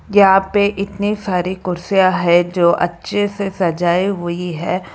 यहां पे इतनी सारी कुर्सियां है जो अच्छे से सजाई हुई है।